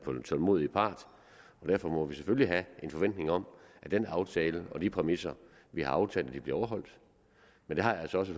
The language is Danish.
tålmodige part derfor må vi selvfølgelig have en forventning om at den aftale og de præmisser vi har aftalt bliver overholdt men det har jeg altså også